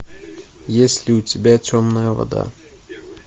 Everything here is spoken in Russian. есть ли у тебя темная вода